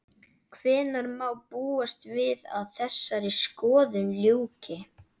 Hvenær má búast við að þessari skoðun ljúki?